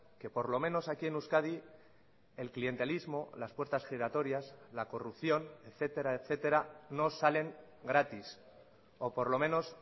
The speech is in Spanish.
que por lo menos aquí en euskadi el clientelismo las puertas giratorias la corrupción etcétera etcétera no salen gratis o por lo menos